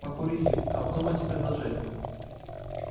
покурите обдумайте предложение